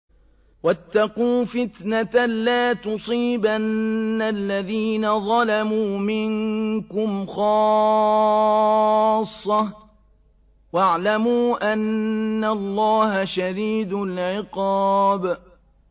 وَاتَّقُوا فِتْنَةً لَّا تُصِيبَنَّ الَّذِينَ ظَلَمُوا مِنكُمْ خَاصَّةً ۖ وَاعْلَمُوا أَنَّ اللَّهَ شَدِيدُ الْعِقَابِ